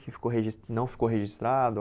Que ficou regis que não ficou registrado?